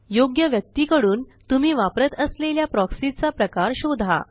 योग्य व्यक्तीकडून तुम्ही वापरत असलेल्या प्रॉक्सी चा प्रकार शोधा